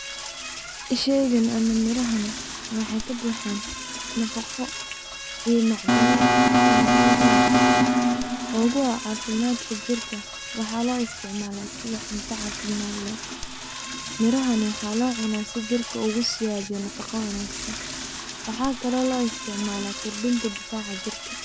Shaygan ama mirahan waxaa kabuxa nafaqo iyo macdano aad muhiim u ah oo kuwa cafimaadka jirka waxaa lo isticmala sida cunta cafimad leh. Mirahan waxaa loo cuna si jirka ugu siyadiyo nafaqo wanagsan waxaa kalo lo isticmala kordhinta difaca jirka.